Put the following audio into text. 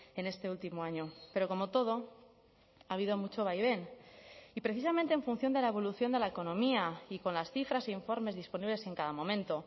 en este último año pero como todo ha habido mucho vaivén y precisamente en función de la evolución de la economía y con las cifras e informes disponibles en cada momento